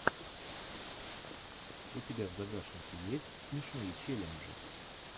у тебя в загашнике есть смешные челленджи